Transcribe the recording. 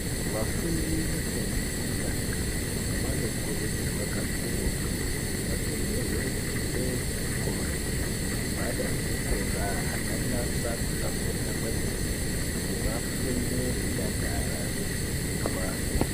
Vafundi vefundo yekutanga vanokurudzirwa kakurutu kuti vatengerwe hembe dzechikora nemagwada echikora akanasa kuhlamburika kwemene kuti vafunde veidakara veidziirwa.